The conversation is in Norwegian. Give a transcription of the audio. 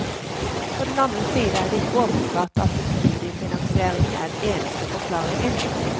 På den annen side er det ikke åpenbart at studiefinansieringen er den eneste forklaringen.